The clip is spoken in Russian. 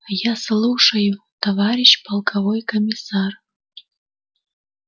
я слушаю товарищ полковой комиссар